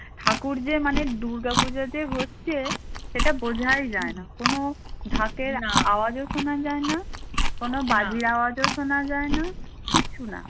ঠাকুর যে মানে দুর্গাপুজো যে হচ্ছে সেটা বোঝাই যায় না কোনো ঢাকের আওয়াজও শোনা যায় না কোন বাজির আওয়াজও শোনা যায় না কিচ্ছু না